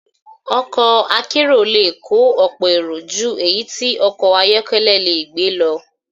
Ọkọ̀ akérò le kó ọ̀pọ̀ èrò ju èyí tí okò ayọ́kẹ́lẹ́ yóò gbé lọ.